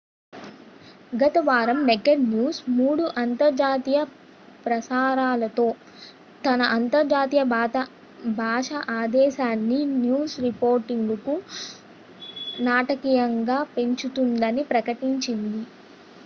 గత వారం naked news మూడు అంతర్జాతీయ ప్రసారాలతో తన అంతర్జాతీయ భాషా ఆదేశాన్ని న్యూస్ రిపోర్టింగ్కు నాటకీయంగా పెంచుతుందని ప్రకటించింది